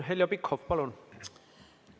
Heljo Pikhof, palun!